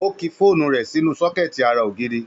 Ó ki fóònù rẹ̀ sínú sọ́kẹ̀tì ara ògiri